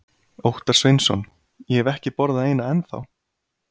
Óttar Sveinsson: Ég hef ekki borðað eina ennþá?